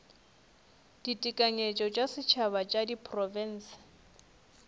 ditekanyetšo tša setšhaba tša diprofense